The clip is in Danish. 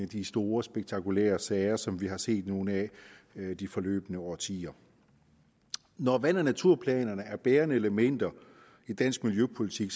de store spektakulære sager som vi har set nogle af de forløbne årtier når vand og naturplanerne er bærende elementer i dansk miljøpolitik